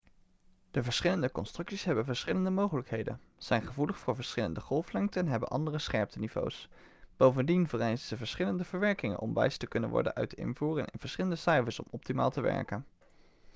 de verschillende constructies hebben verschillende mogelijkheden zijn gevoelig voor verschillende golflengten en hebben andere scherpteniveaus bovendien vereisen ze verschillende verwerking om wijs te kunnen worden uit de invoer en verschillende cijfers om optimaal te werken